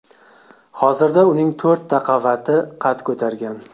Hozirda uning to‘rtta qavati qad ko‘targan.